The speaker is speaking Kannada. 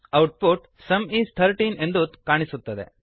ಔಟ್ಪುಟ್ ಸುಮ್ ಇಸ್ 13 ಎಂದು ಕಾಣಿಸುತ್ತದೆ